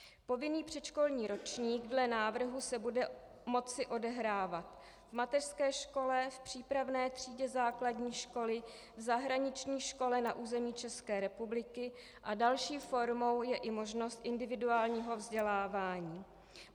Povinný předškolní ročník dle návrhu se bude moci odehrávat v mateřské škole, v přípravné třídě základní školy, v zahraniční škole na území České republiky a další formou je i možnost individuálního vzdělávání.